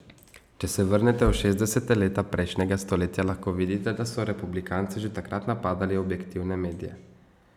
Če se vrnete v šestdeseta leta prejšnjega stoletja, lahko vidite, da so republikanci že takrat napadali objektivne medije.